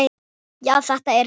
Já, þetta er magnað.